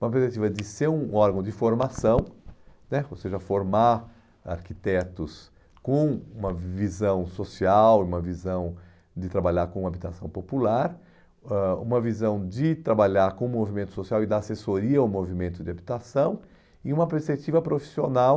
Uma perspectiva de ser um órgão de formação né, ou seja, formar arquitetos com uma visão social, uma visão de trabalhar com habitação popular, ãh uma visão de trabalhar com o movimento social e da assessoria ao movimento de habitação, e uma perspectiva profissional,